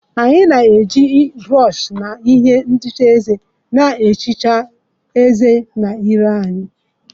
Anyị na-eji brọsh na ihe ntanye eze na-ehicha ezé na ire anyị.